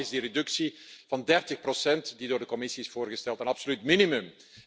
Daarom is die reductie van 30 die door de Commissie is voorgesteld een absoluut minimum.